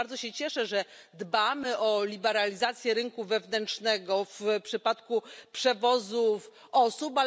I bardzo się cieszę, że dbamy o liberalizację rynku wewnętrznego w przypadku przewozów osób.